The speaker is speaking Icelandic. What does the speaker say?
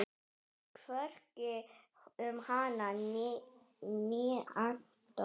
Hvorki um hana né Anton.